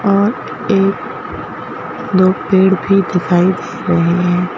और एक दो पेड़ भी दिखाई दे रहे हैं।